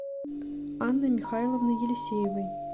анной михайловной елисеевой